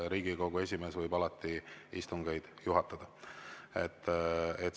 Riigikogu esimees võib alati istungeid juhatada.